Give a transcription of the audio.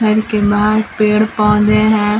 घर के बाहर पेड़ पौधे हैं।